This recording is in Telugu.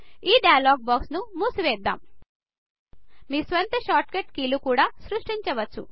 ఈ డైలాగ్ బాక్స్ ను మూసివేద్దాం మీ స్వంత షార్ట్ కట్ కీలు కూడా సృష్టించవచ్చు